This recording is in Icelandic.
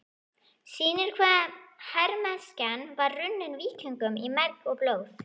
sýnir hve hermennskan var runnin víkingum í merg og blóð.